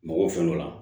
Mɔgɔ fɛn dɔ la